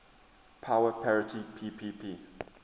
power parity ppp